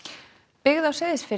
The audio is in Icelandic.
byggð á Seyðisfirði